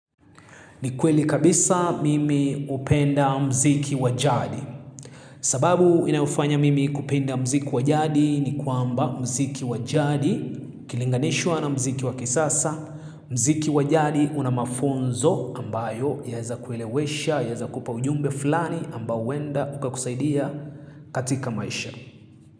Ni kweli kabisa mimi hupenda mziki wa jadi. Sababu inayofanya mimi kupenda mziki wa jadi. Ni kwamba mziki wa jadi. Ukilinganishwa na mziki wa kisasa. Mziki wa jadi una mafunzo ambayo. Yaeza kulewesha, yaeza kupa ujumbe fulani. Ambai huenda ukakusaidia katika maisha.